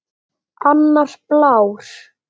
Annar blár.